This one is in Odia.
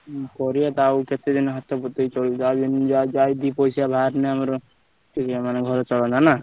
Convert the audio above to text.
ହୁଁ କରିବ ତ ଆଉ କେତେଦିନ ହତପତେଇ ଚଳିବ ଯାହା ଦିପାଇସା ବାହାରିଲେ ଆମର ଘର ଚଳନ୍ତା ନା।